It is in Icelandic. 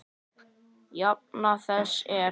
Jafna þess er